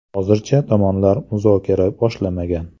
Hozircha tomonlar muzokara boshlamagan.